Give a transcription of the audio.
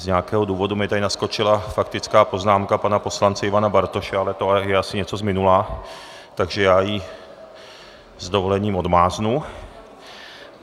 Z nějakého důvodu mi tady naskočila faktická poznámka pana poslance Ivana Bartoše, ale to je asi něco z minula, takže já ji s dovolením odmáznu.